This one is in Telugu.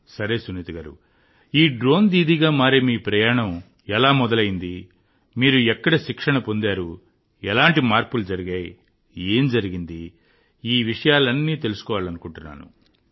సరే సునీత గారూ ఈ డ్రోన్ దీదీగా మారే మీ ప్రయాణం ఎలా మొదలైంది మీరు ఎక్కడ శిక్షణ పొందారు ఎలాంటి మార్పులు జరిగాయి ఏం జరిగింది నేను మొదటి నుండి తెలుసుకోవాలనుకుంటున్నాను